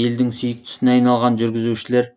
елдің сүйіктісіне айналған жүргізушілер